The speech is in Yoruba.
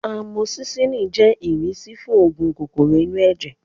Amosisilin jẹ́ ìrísí fún oògùn kòkòrò inú ẹ̀jẹ̀